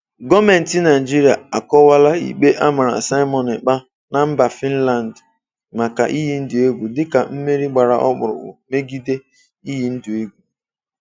Gọọmenti Naịjirịa akọwaala ikpe a mara Simon Ekpa na mba Fịnland maka iyi ndụ egwu dịka "mmeri gbara ọkpụrụkpụ" megide iyi ndụ egwu.